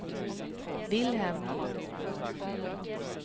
Vilhelm